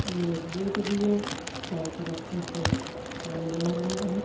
एक बोट भी है चारों तरफ से पानी बह रहा है।